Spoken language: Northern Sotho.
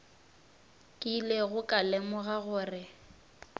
ke ilego ka lemoga gore